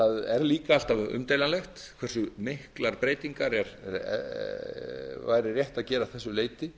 er líka alltaf umdeilanlegt hversu miklar breytingar væri rétt að gera að þessu leyti